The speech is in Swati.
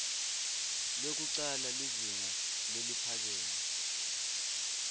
lwekucala lizinga leliphakeme